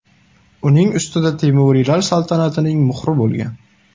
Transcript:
Uning ustida Temuriylar saltanatining muhri bo‘lgan.